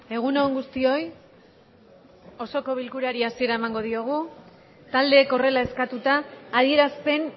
egun on guztioi osoko bilkurari hasiera emango diogu taldek horrela eskatuta adieraspen